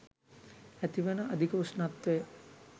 ඇතිවන අධික උෂ්නත්වය